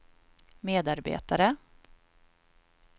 medarbetare